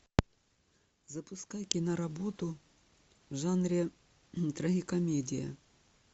запускай киноработу в жанре трагикомедия